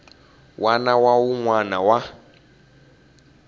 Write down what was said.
wana na wun wana wa